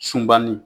Sunba ni